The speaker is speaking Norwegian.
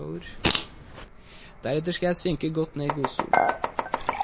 Deretter skal jeg synke godt ned i godstolen.